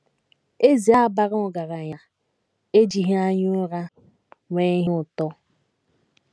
Eze a bara ọgaranya ejighị anya ụra nwee ihe ụtọ.